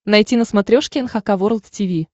найти на смотрешке эн эйч кей волд ти ви